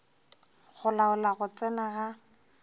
go laola go tsena ga